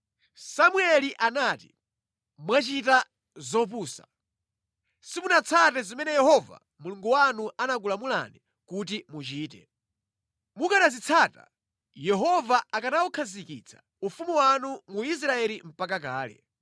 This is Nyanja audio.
Samueli anati, “Mwachita zopusa. Simunatsate zimene Yehova Mulungu wanu anakulamulani kuti muchite. Mukanazitsata, Yehova akanawukhazikitsa ufumu wanu mu Israeli mpaka kalekale.